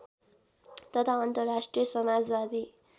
तथा अन्तर्राष्ट्रिय समाजवादी